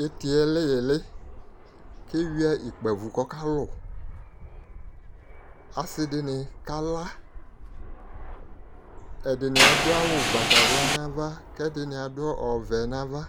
Tu itiɛ lɛ iɣli keyua ikpavu ku ɔkalu asidini kala ɛdini adu awu ugbatawla nu ava kɛdini adu ɔwɛ nava